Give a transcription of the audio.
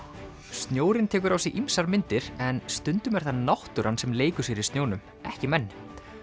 snjórinn tekur á sig ýmsar myndir en stundum er það náttúran sem leikur sér í snjónum ekki menn